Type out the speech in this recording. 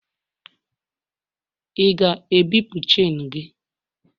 ị ga-ebipụ chenu gị?